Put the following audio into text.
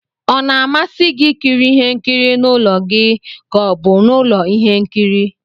Ọ na-amasị gị ikiri ihe nkiri n'ụlọ gi ka ọ bụ n'ulo ihe nkiri?